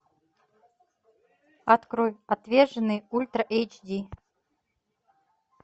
открой отверженные ультра эйч ди